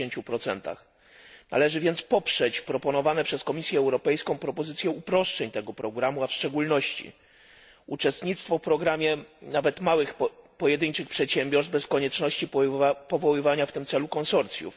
60. Należy więc poprzeć proponowane przez Komisję Europejską propozycje uproszczeń tego programu, a w szczególności uczestnictwo w programie nawet małych, pojedynczych przedsiębiorstw bez konieczności powoływania w tym celu konsorcjów